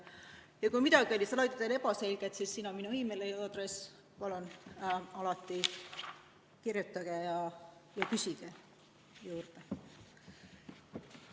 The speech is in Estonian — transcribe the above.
Ja kui midagi oli slaididel ebaselge, siis siin on minu meiliaadress, palun, kirjutage ja küsige juurde.